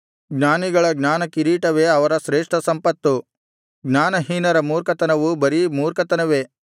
ಜ್ಞಾನಿಗಳ ಜ್ಞಾನಕಿರೀಟವೇ ಅವರ ಶ್ರೇಷ್ಠ ಸಂಪತ್ತು ಜ್ಞಾನಹೀನರ ಮೂರ್ಖತನವು ಬರೀ ಮೂರ್ಖತನವೇ